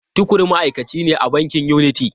Tukur ma’aikaci ne a bankin Unity.